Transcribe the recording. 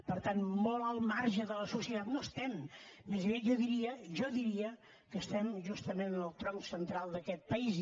per tant molt al marge de la societat no estem més aviat jo diria jo diria que estem justament en el tronc central d’aquest país